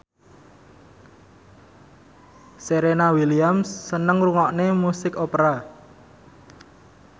Serena Williams seneng ngrungokne musik opera